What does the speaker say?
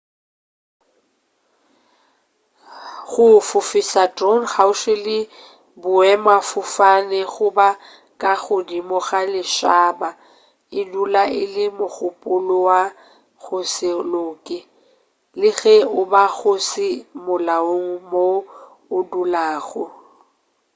go fofiša drone kgauswi le boemafofane goba ka godimo ga lešhaba e dula e le mogopolo wa go se loke le ge e ba go se molaong mo o dulago